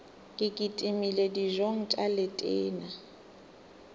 ke kitimele dijong tša letena